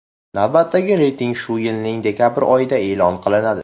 Navbatdagi reyting shu yilning dekabr oyida e’lon qilinadi.